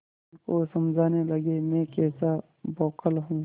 मन को समझाने लगेमैं कैसा बौखल हूँ